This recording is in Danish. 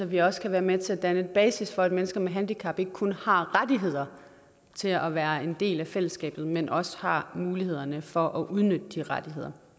vi også kan være med til at danne basis for at mennesker med handicap ikke kun har rettigheder til at være en del af fællesskabet men også har mulighederne for at udnytte de rettigheder